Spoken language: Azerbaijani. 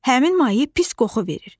Həmin maye pis qoxu verir.